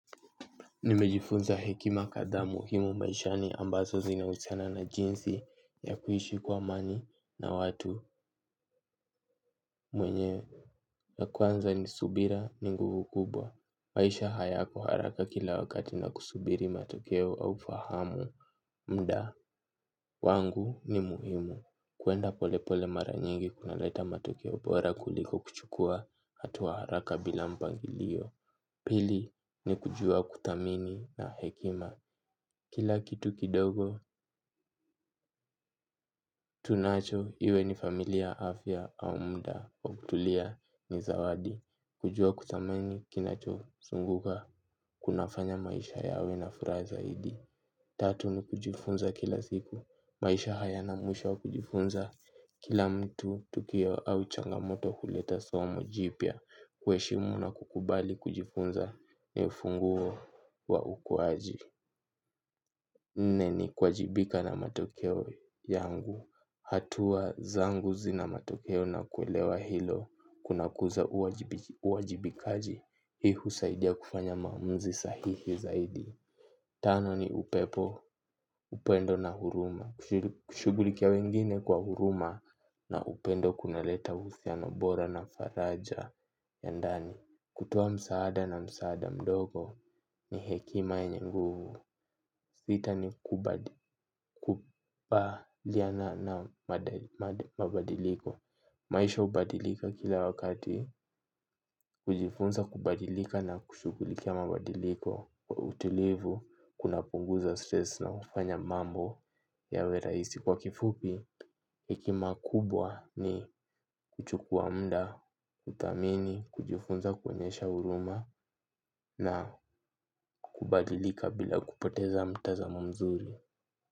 Nimejifunza hekima kadhaa muhimu maishani ambazo zinahusiana na jinsi ya kuishi kwa amani na watu mwenye. Ya kwanza ni subira ni nguvu kubwa. Maisha hayako haraka kila wakati na kusubiri matokeo au fahamu muda. Wangu ni muhimu. Kwenda polepole mara nyingi kunaleta matokeo bora kuliko kuchukua hatua haraka bila mpangilio. Pili ni kujua kutamini na hekima. Kila kitu kidogo tunacho iwe ni familia afya au muda wa kutulia ni zawadi kujua kuthamini kinachozunguka kunafanya maisha yawe na furaha zaidi. Tatu ni kujifunza kila siku maisha hayana mwisho wa kujifunza. Kila mtu tukio au changamoto huleta somo jipya kuheshimu na kukubali kujifunza ni ufunguo wa ukuaji. Nne ni kuwajibika na matokeo yangu. Hatua zangu zina matokeo na kuelewa hilo. Kunakuza uwajibikaji. Hii husaidia kufanya maamuzi sahihi zaidi. Tano ni upepo, upendo na huruma, kushughulikia wengine kwa huruma na upendo kunaleta uhusiano bora na faraja ya ndani, kutoa msaada na msaada mdogo ni hekima yenye nguvu. Sita ni kukubaliana na mabadiliko. Maisha hubadilika kila wakati, kujifunza kubadilika na kushughulikia mabadiliko kwa utulivu kunapunguza stress na hufanya mambo yawe rahisi kwa kifupi. Hekima kubwa ni kuchukua muda kuthamini kujifunza kuonyesha huruma na kubadilika bila kupoteza mtazamo mzuri.